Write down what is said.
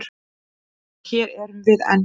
Og hér erum við enn.